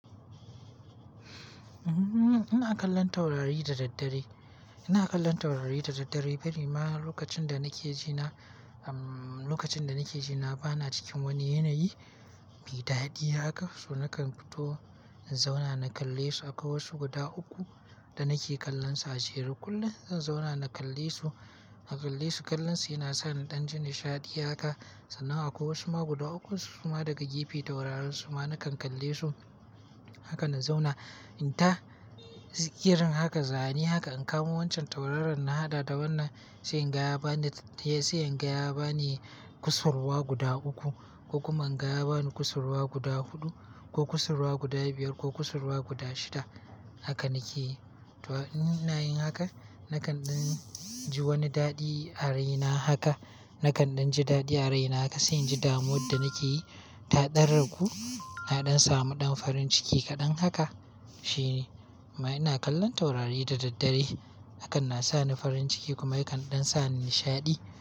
Ina kallon taurari da daddare. Ina kallon taurari da daddare bari ma lokacin da nake ji na, lokacin da nake ji na bana cikin wani yanayi mai daɗi haka. So nakan fito in zauna na kalle su akwai wasu guda uku da nake kallonsa a jere kullum zan zauna na kalle su, na kalle su. Kallonsu yana sa ni ɗan jin nishaɗi haka sannan akwai wasu ma guda uku kuma daga gefe tauraransu ma nakan kalle su. Haka na zauna. In ta girin haka, zane haka in kamo wancan tauraron na haɗa da wannan, sai in gaya bani, sai in gaya bani kusurwa guda uku ko kuma in gaya bani kusurwa guda huɗu ko kusurwa guda biyar ko kusurwa guda shida. Haka nake. To in nayi haka nakan ɗan ji wani daɗi a raina haka. Nakan ɗan ji daɗi a raina haka, sai in ji damuwar da nake yi ta ɗan ragu. Na ɗan samu ɗan farin ciki kaɗan haka shine. Ma ina kallon taurari da daddare hakan na sa ni farin ciki kuma yakan ɗan sa ni nishaɗi.